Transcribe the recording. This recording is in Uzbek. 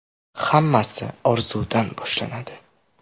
“Hammasi orzudan boshlanadi!